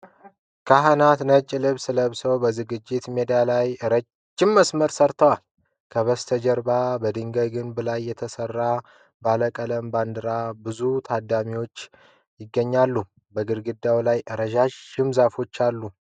ካህናት ነጭ ልብስ ለብሰው በዝግጅት ሜዳ ላይ ረጅም መስመር ሠርተዋል። ከበስተጀርባ በድንጋይ ግንብ ላይ የተሰቀሉ ባለ ቀለም ባንዲራዎችና ብዙ ታዳሚዎች ይገኛሉ። በግድግዳው ላይ ረዣዥም ዛፎች አሉ።